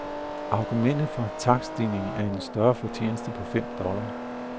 Argumentet for takststigningen er en større fortjeneste på fem dollar.